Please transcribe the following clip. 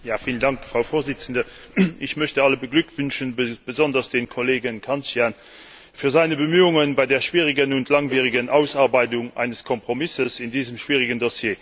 Frau Präsidentin! Ich möchte alle beglückwünschen, besonders aber dem Kollegen Cancian für seine Bemühungen bei der schwierigen und langwierigen Ausarbeitung eines Kompromisses in diesem schwierigen Dossier danken.